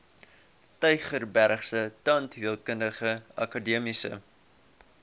tygerbergse tandheelkundige akademiese